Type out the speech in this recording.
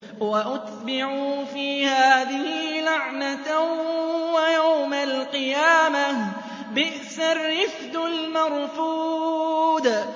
وَأُتْبِعُوا فِي هَٰذِهِ لَعْنَةً وَيَوْمَ الْقِيَامَةِ ۚ بِئْسَ الرِّفْدُ الْمَرْفُودُ